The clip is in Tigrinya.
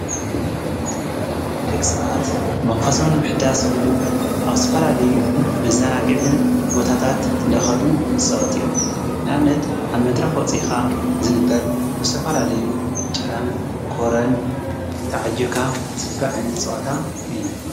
ልቕሰባት መንፈሰምን ምሕዳስ ህሉ ኣውስፋላለዩ ብዛናግዕን ቦታታት ለኸዱ ይፅወት እዮም ናምነት ኣብ መድሪ ኾፂኻ ዝግበር ብሰፈላለዩ ጭራን ኮረን ተዓይካ ዝግቢር ኣይነት ጸዋታ እዩ።